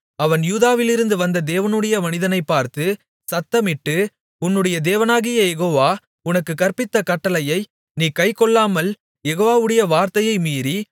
அவன் யூதாவிலிருந்து வந்த தேவனுடைய மனிதனைப் பார்த்துச் சத்தமிட்டு உன்னுடைய தேவனாகிய யெகோவா உனக்குக் கற்பித்த கட்டளையை நீ கைக்கொள்ளாமல் யெகோவாவுடைய வார்த்தையை மீறி